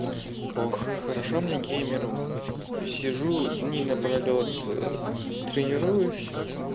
ох хорошо мне геймеру сижу дни напролёт тренируюсь